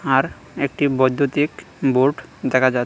আর একটি বৈদ্যুতিক বোর্ড দেখা যা--